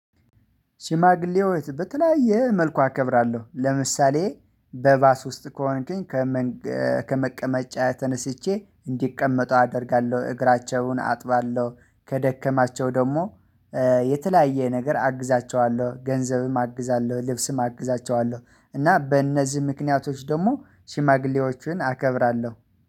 ሽማግሌዎች በተለያየ መልኩ አከብራለሁ ለምሳሌ በባስ ውስጥ ከሆንከኝ ተነስቼ እንዲቀመጡ አደርጋለሁ። እግራቸውን አጥባለሁ ከደከማቸው ደግሞ የተለያየ ነገር አግዛቸዋለሁ ገንዘብም አግዛለሁ ልብስም አግዛቸዋለሁ እና በእነዚህ ምክንያቶች ደግሞ ሽማግሌዎችን አከብራለሁ።